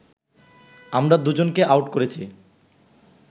আমরা দুজনকে আউট করেছি